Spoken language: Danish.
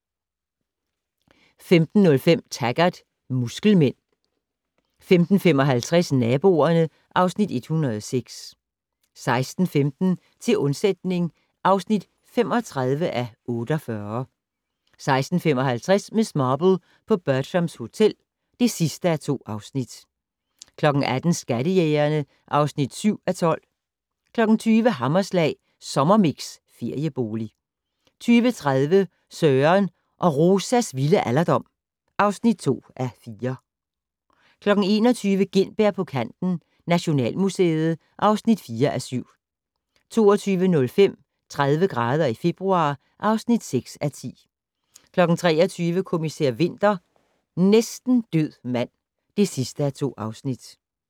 15:05: Taggart: Muskelmænd 15:55: Naboerne (Afs. 106) 16:15: Til undsætning (35:48) 16:55: Miss Marple: På Bertram's Hotel (2:2) 18:00: Skattejægerne (7:12) 20:00: Hammerslag Sommermix - feriebolig 20:30: Søren og Rosas vilde alderdom (2:4) 21:00: Gintberg på kanten - Nationalmuseet (4:7) 22:05: 30 grader i februar (6:10) 23:00: Kommissær Winter: Næsten død mand (2:2)